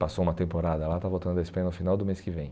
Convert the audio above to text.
Passou uma temporada lá, está voltando da Espanha no final do mês que vem.